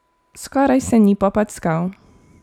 Skoraj se ni popackal.